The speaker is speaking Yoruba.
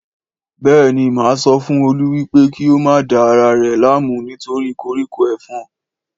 Béèni má sọ fún Olú wípé kí o má da ara rè láàmú nítorí koríko ẹfọ̀n